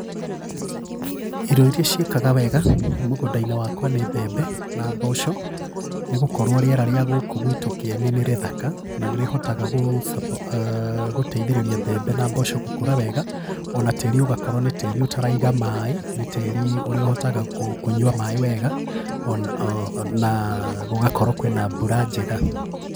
Irio irĩa ciĩkaga wega mũgũndainĩ wakwa nĩ mbembe na mboco nĩgũkorwo rĩera rĩa gũkũ gwitũ Kĩeni nĩrĩthaka na nĩrĩhotaga gũteithĩrĩria mbembe na mboco gũkũra wega ona tĩri ũgakorwo nĩ tĩri ũtaraiga maĩ, nĩ tĩri ũrĩa ũhotaga kũnywa maĩ wega na gũgakorwo kwĩna mbura njega.